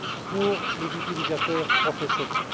pour les utilisateurs professionnels.